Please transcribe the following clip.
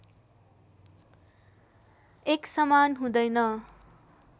एक समान हुँदैन